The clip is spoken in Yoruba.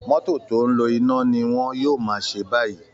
Mọ́tò tó ń lo iná ni wọn yóò máa ṣe báyìí